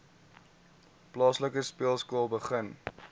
plaaslike speelskool begin